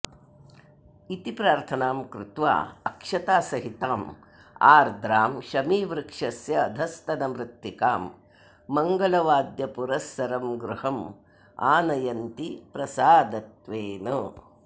इति प्रार्थनां कृत्वा अक्षतासहिताम् आर्द्रां शमीवृक्षस्य अधस्तनमृत्तिकां मङ्गलवाद्यपुरस्सरं गृहम् आनयन्ति प्रसादत्वेन